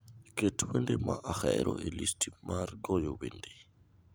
Ket wende ma ahero e listi mar goyo wende